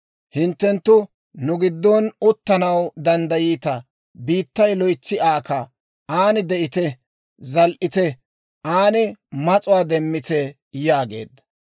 Hinttenttu nu giddon uttanaw danddayiita; biittay loytsi aaka; aan de'ite; zal"ite; aan mas'uwaa demmite» yaageedda.